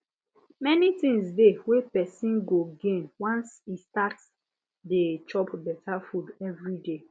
many things dey wey persom go gain once e start dey chop better food every day